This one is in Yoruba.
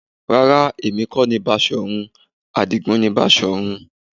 Rárá, èmi kọ́ ni Basọ̀run, Adigun ni Basọ̀run